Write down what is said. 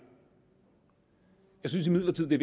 jeg synes imidlertid det